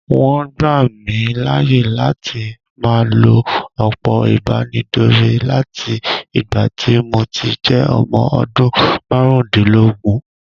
Wọ́n gbà mí láàyè láti máa lo òpó ìbánidọ́rẹ̀ láti ìgbà tí mo ti jẹ́ ọmọ odún márùndínlógún.